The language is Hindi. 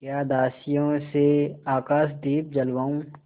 या दासियों से आकाशदीप जलवाऊँ